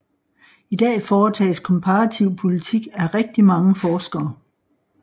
I dag foretages komparativ politik af rigtig mange forskere